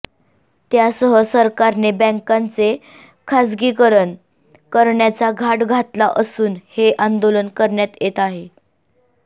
त्यासह सरकारने बँकांचे खासगीकरण करण्याचा घाट घातला असून हे आंदोलन करण्यात येत आहे